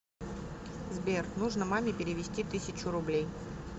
сбер нужно маме перевести тысячу рублей